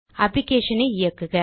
applicationஐ இயக்குக